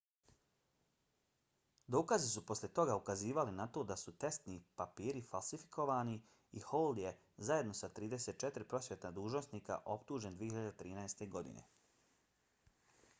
dokazi su poslije toga ukazivali na to da su testni papiri falsifikovani i hall je zajedno sa još 34 prosvjetna dužnosnika optužen 2013. godine